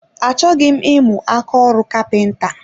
Achọghị m imu ákáọrụ kapinta